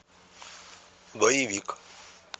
боевик